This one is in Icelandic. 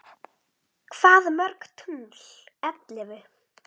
Hvað mörg tungl ellefu?